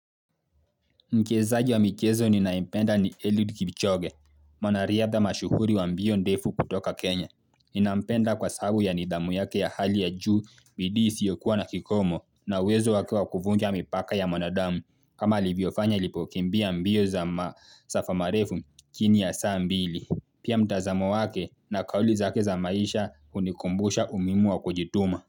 Mchezaji wa mchezo ninayempenda ni Eluid Kipchoge, mwanariadha mashuhuri wa mbio ndefu kutoka Kenya. Ninampenda kwa sahabu ya nidhamu yake ya hali ya juu bidii isiokuwa na kikomo na uwezo wake wa kuvunja mipaka ya mwanadamu. Kama alivyoyofanya alipo kimbia mbio za masafa marefu chini ya saa mbili. Pia mtazamo wake na kauli zake za maisha hunikumbusha umuhimu wa kujituma.